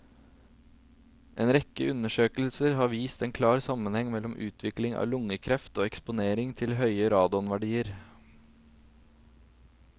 En rekke undersøkelser har vist en klar sammenheng mellom utvikling av lungekreft og eksponering til høye radonverdier.